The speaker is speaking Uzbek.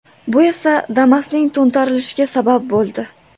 Bu esa Damas’ning to‘ntarilishiga sabab bo‘ldi.